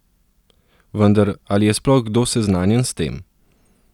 Vendar, ali je sploh kdo seznanjen s tem?